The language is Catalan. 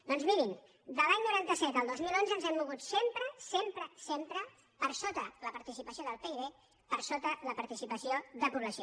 doncs mirin de l’any noranta set al dos mil onze ens hem mogut sempre sempre sempre per sota la participació del pib per sota la participació de població